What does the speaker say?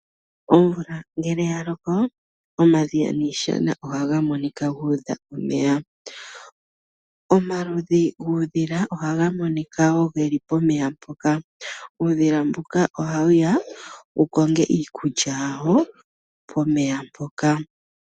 Omvula ngele ya loko omadhiya niishana ohaga monika gu udha omeya. Omaludhi guudhila ohaga monika wo ge li pomeya mpoka. Uudhila mbuka ohawu ya wu konge iikulya yawo pomeya mpoka.